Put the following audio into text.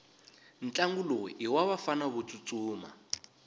ntlangu lowu iwavafana votsutsuma